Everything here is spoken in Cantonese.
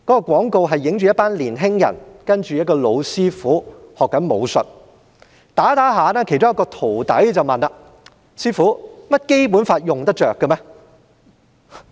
廣告的內容是一群年青人向一位老師父學習武術，在練習期間，其中一位徒弟問："師父，《基本法》用得着嗎？